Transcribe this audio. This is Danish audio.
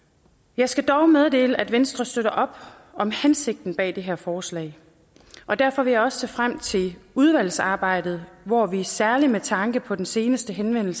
jeg skal dog meddele at venstre støtter op om hensigten bag det her forslag og derfor vil jeg også se frem til udvalgsarbejdet hvor vi særlig med tanke på den seneste henvendelse